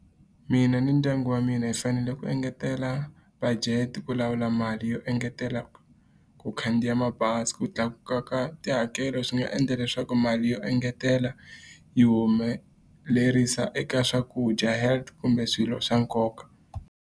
Mina ni ndyangu wa mina hi fanele ku engetela budget ku lawula mali yo engetela ku khandziya mabazi. Ku tlakuka ka tihakelo swi nga endla leswaku mali yo engetela, yi humelerisa eka swakudya, health, kumbe swilo swa nkoka.